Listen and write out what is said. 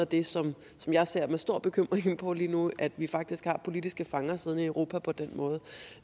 det som jeg ser med stor bekymring på lige nu at vi faktisk har politiske fanger siddende i europa på den måde